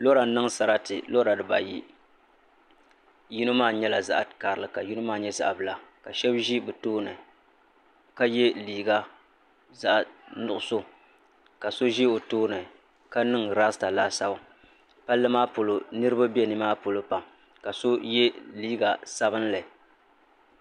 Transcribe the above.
Lora n niŋ sarati lora dibayi yino maa nyɛla zaɣ karili ka yino maa nyɛ zaɣ bila ka shab ʒi bi tooni ka yɛ liiga zaɣ nuɣso ka so ʒi o tooni ka niŋ rasta laasabu palli maa poli niraba bɛ nimaa polo pam ka so yɛ liiga sabinli